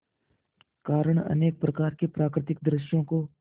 कारण अनेक प्रकार के प्राकृतिक दृश्यों को